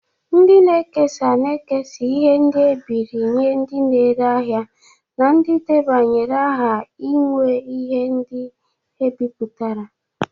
Ndị na-ekesa na-ekesa ihe ndi ebiri nye ndị na-ere ahịa na ndị debanyere aha inwe ihe ndi ebiputara.